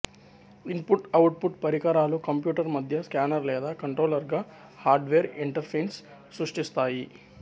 input output పరికరాలు computer మధ్య scanner లేదా కంట్రోలర్గా హార్డ్వేర్ ఇంటర్ఫేస్ను సృష్టిస్తాయి